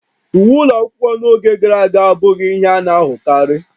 Uwe ụlọ akwụkwọ n'oge gara aga abụghị ihe a na-ahụkarị